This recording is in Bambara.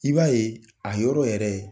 I b'a ye, a yɔrɔ yɛrɛ